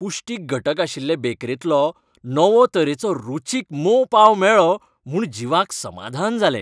पुश्टीक घटक आशिल्ले बेकरींतलो नवो तरेचो रुचीक मोव पांव मेळ्ळो म्हूण जीवाक समाधान जालें.